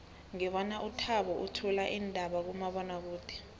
ngibona uthabo uthula iindaba kumabonwakude